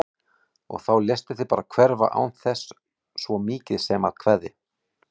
Og þá léstu þig bara hverfa án þess svo mikið sem að kveðja!